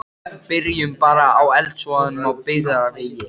Byrjum bara á eldsvoðanum á Byggðavegi.